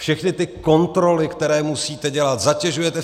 Všechny ty kontroly, které musíte dělat, zatěžujete